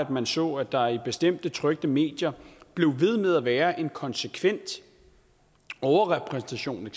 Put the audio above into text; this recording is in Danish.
man så at der i bestemte trykte medier blev ved med eksempelvis at være en konsekvent overrepræsentation